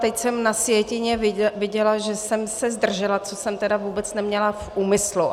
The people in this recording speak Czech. Teď jsem na sjetině viděla, že jsem se zdržela, což jsem tedy vůbec neměla v úmyslu.